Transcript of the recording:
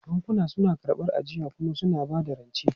Bankuna suna karɓar ajiya kuma suna ba da rance.